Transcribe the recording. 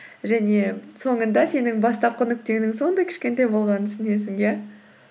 және соңында сенің бастапқы нүктеңнің сондай кішкентай болғанын түсінесің иә